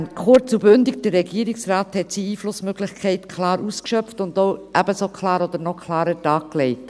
Kurz und bündig: Der Regierungsrat hat seine Einflussmöglichkeiten klar ausgeschöpft und ebenso klar oder noch klarer dargelegt.